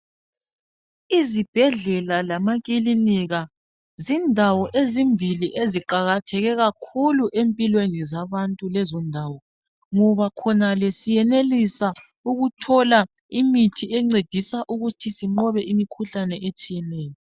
Izibhedlela lamakilinika zindawo ezimbili eziqakatheke kakhulu ezimpilweni zabantu lezondawo. ngoba khonale, siyenelisa ukuthola imithi encedisa ukuba sinqobe imikhuhlane etshiyeneyo.